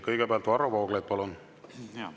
Kõigepealt Varro Vooglaid, palun!